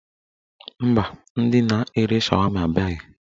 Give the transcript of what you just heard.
Mba, ndị na-ere shawama abịaghị.